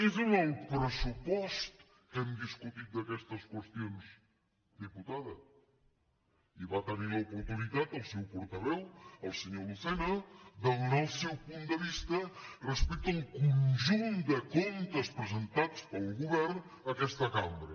és en el pressupost que hem discutit d’aquestes qüestions diputada i va tenir l’oportunitat el seu portaveu el senyor lucena de donar el seu punt de vista respecte al conjunt de comptes presentats pel govern a aquesta cambra